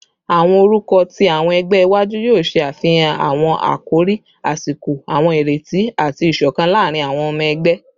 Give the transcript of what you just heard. Awọn orukọ ti awọn ẹgbẹ iwaju yoo ṣe afihan awọn akori asiko, awọn ireti, ati isokan laarin awọn ọmọ ẹgbẹ